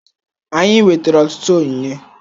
Anyị nwetara ọtụtụ onyinye